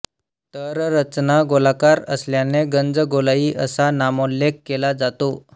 तर रचना गोलाकार असल्याने गंजगोलाई असा नामोल्लेख केला जातो